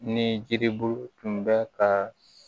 Ni jiribulu tun bɛ ka